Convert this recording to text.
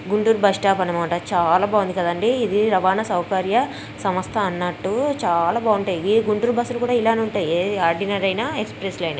Guntur bus stop అన్నమాట.చాలా బాగుంది కదండి. ఇది రవాణా సౌకర్య సంస్థ అన్నట్టు చాలా బాగుంటాయ్. ఏ గుంటూరు బస్సులు అయిన ఇలానే ఉంటాయే ఆర్డినరీ అయిన ఎక్స్ప్రెస్ అయిన.